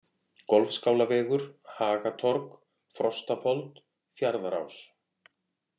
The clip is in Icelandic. Golfskálavegur, Hagatorg, Frostafold, Fjarðarás